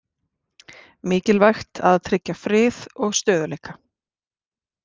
Mikilvægt að tryggja frið og stöðugleika